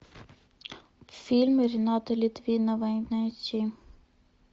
фильмы ренаты литвиновой найти